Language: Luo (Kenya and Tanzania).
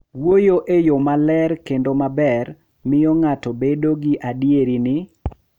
Wuoyo e yo maler kendo maber miyo ng’ato bedo gi adier ni